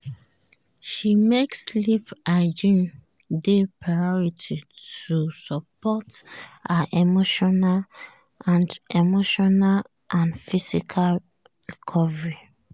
"she make sleep hygiene dey priority to support her emotional and emotional and physical recovery."